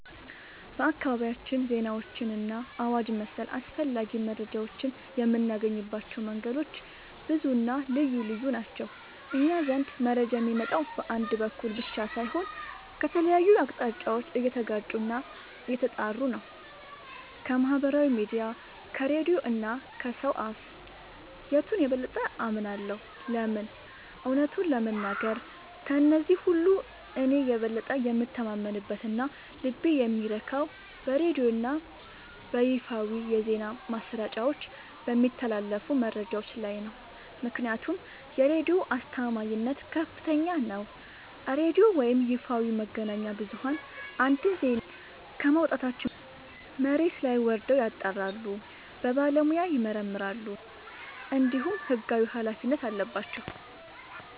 በአካባቢያችን ዜናዎችንና አዋጅ መሰል አስፈላጊ መረጃዎችን የምናገኝባቸው መንገዶች ብዙና ልዩ ልዩ ናቸው። እኛ ዘንድ መረጃ የሚመጣው በአንድ በኩል ብቻ ሳይሆን ከተለያዩ አቅጣጫዎች እየተጋጩና እየተጣሩ ነው። ከማኅበራዊ ሚዲያ፣ ከሬዲዮ እና ከሰው አፍ... የቱን የበለጠ አምናለሁ? ለምን? እውነቱን ለመናገር፣ ከእነዚህ ሁሉ እኔ የበለጠ የምተማመንበትና ልቤ የሚረካው በሬዲዮና በይፋዊ የዜና ማሰራጫዎች በሚተላለፉ መረጃዎች ላይ ነው። ምክንያቱም የሬዲዮ አስተማማኝነት ከፍተኛ ነው፤ ሬዲዮ ወይም ይፋዊ መገናኛ ብዙኃን አንድን ዜና ከማውጣታቸው በፊት መሬት ላይ ወርደው ያጣራሉ፣ በባለሙያ ይመረምራሉ፣ እንዲሁም ሕጋዊ ኃላፊነት አለባቸው።